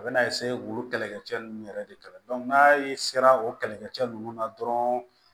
A bɛna kɛlɛcɛ ninnu yɛrɛ de kala n'a ye sera o kɛlɛkɛcɛ ninnu na dɔrɔn